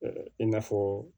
i n'a fɔ